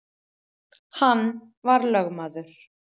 Hann var lögmaður